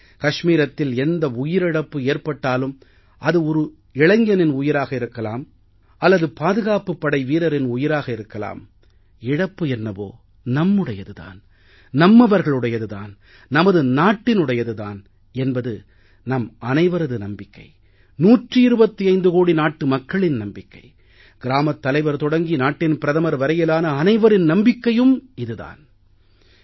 கஷ்மீரத்தில் எந்த உயிரிழப்பு ஏற்பட்டாலும் அது ஒரு இளைஞனின் உயிராக இருக்கலாம் அல்லது பாதுகாப்புப் படை வீரரின் உயிராக இருக்கலாம் இழப்பு என்னவோ நம்முடையது தான் நம்மவர்களுடையது தான் நமது நாட்டினுடையது தான் என்பது நம் அனைவரது நம்பிக்கை 125 கோடி நாட்டு மக்களின் நம்பிக்கை கிராமத் தலைவர் தொடங்கி நாட்டின் பிரதமர் வரையிலான அனைவரின் நம்பிக்கையும் கூட